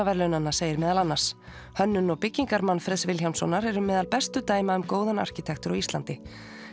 segir meðal annars hönnun og byggingar Manfreðs Vilhjálmssonar eru meðal bestu dæma um góðan arkitektúr á Íslandi